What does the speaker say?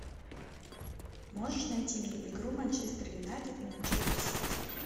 можешь найти мне игру манчестер юнайтед и манчестер сити